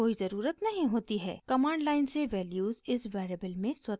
command line से values इस variable में स्वतः ही रख दी जाती हैं